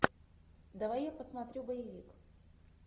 давай я посмотрю боевик